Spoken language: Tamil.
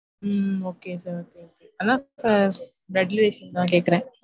உம் okay sir okay அதாவது blood relation தான் கேக்குறன்